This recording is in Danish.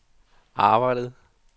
arbejdede